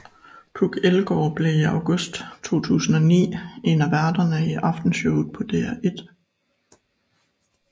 Puk Elgård blev i august 2009 en af værterne i Aftenshowet på DR1